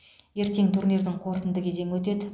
ертең турнирдің қорытынды кезеңі өтеді